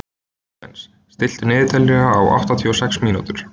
Klemens, stilltu niðurteljara á áttatíu og sex mínútur.